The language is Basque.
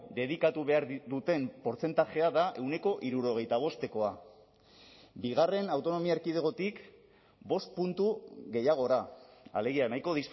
dedikatu behar duten portzentajea da ehuneko hirurogeita bostekoa bigarren autonomia erkidegotik bost puntu gehiagora alegia nahiko